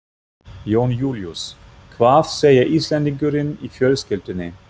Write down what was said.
Jón Júlíus: Hvað segir Íslendingurinn í fjölskyldunni?